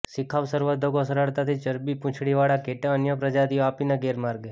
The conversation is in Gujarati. શિખાઉ સંવર્ધકો સરળતાથી ચરબી પૂંછડીવાળા ઘેટાં અન્ય પ્રજાતિઓ આપીને ગેરમાર્ગે